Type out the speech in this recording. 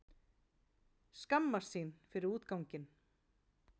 Skammast sín fyrir útganginn.